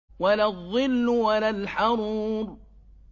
وَلَا الظِّلُّ وَلَا الْحَرُورُ